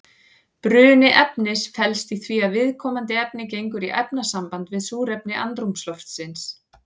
Bruni efnis felst í því að viðkomandi efni gengur í efnasamband við súrefni andrúmsloftsins.